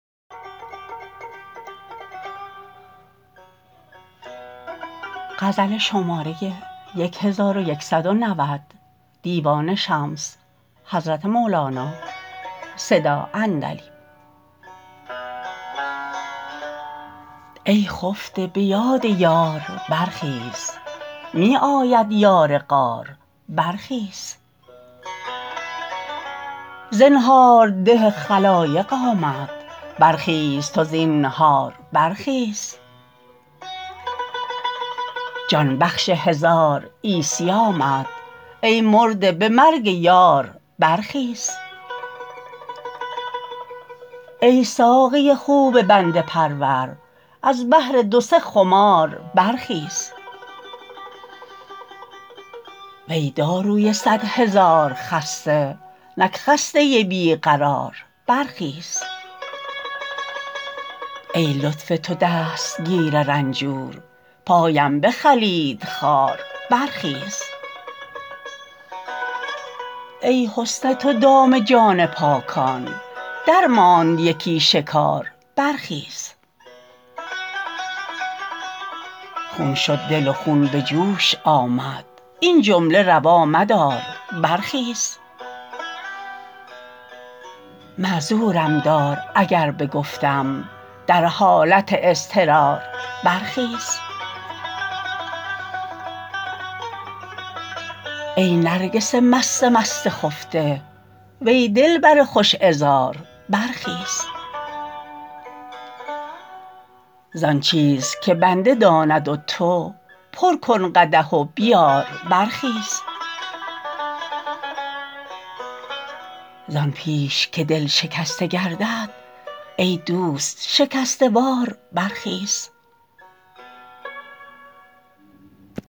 ای خفته به یاد یار برخیز می آید یار غار برخیز زنهارده خلایق آمد برخیز تو زینهار برخیز جان بخش هزار عیسی آمد ای مرده به مرگ یار برخیز ای ساقی خوب بنده پرور از بهر دو سه خمار برخیز وی داروی صد هزار خسته نک خسته بی قرار برخیز ای لطف تو دستگیر رنجور پایم بخلید خار برخیز ای حسن تو دام جان پاکان درماند یکی شکار برخیز خون شد دل و خون به جوش آمد این جمله روا مدار برخیز معذورم دار اگر بگفتم در حالت اضطرار برخیز ای نرگس مست مست خفته وی دلبر خوش عذار برخیز زان چیز که بنده داند و تو پر کن قدح و بیار برخیز زان پیش که دل شکسته گردد ای دوست شکسته وار برخیز